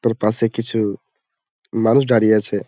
তারপাশে কিছু মানুষ দাড়িয়ে আছে।